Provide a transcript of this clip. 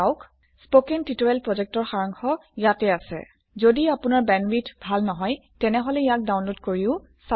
কথন শিক্ষণ প্ৰকল্পৰ সাৰাংশ ইয়াত আছে যদি আপোনাৰ বেণ্ডৱিডথ ভাল নহয় তেনেহলে ইয়াক ডাউনলোড কৰি চাব পাৰে